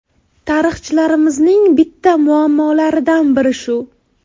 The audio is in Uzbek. Tarixchilarimizning bitta muammolaridan biri shu.